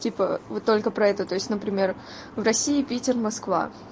типа вы только про это то есть например в россии питер москва